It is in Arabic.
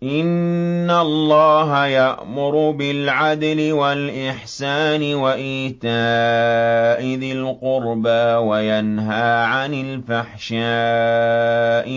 ۞ إِنَّ اللَّهَ يَأْمُرُ بِالْعَدْلِ وَالْإِحْسَانِ وَإِيتَاءِ ذِي الْقُرْبَىٰ وَيَنْهَىٰ عَنِ الْفَحْشَاءِ